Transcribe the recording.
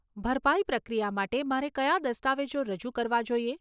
ભરપાઈ પ્રક્રિયા માટે, મારે કયા દસ્તાવેજો રજૂ કરવા જોઈએ?